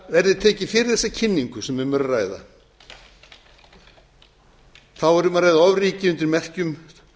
verði tekið fyrir þessa kynningu er um að ræða ofríki undir merkjum